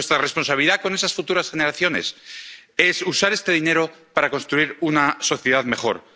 Nuestra responsabilidad con esas futuras generaciones es usar este dinero para construir una sociedad mejor.